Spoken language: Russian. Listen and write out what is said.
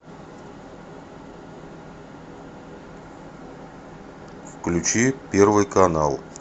включи первый канал